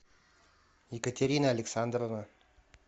екатерина александровна